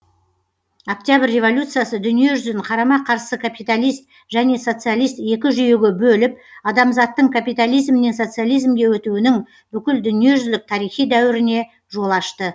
октябрь революциясы дүние жүзін қарама қарсы капиталист және социалист екі жүйеге бөліп адамзаттың капитализмнен социализмге өтуінің бүкіл дүние жүзілік тарихи дәуіріне жол ашты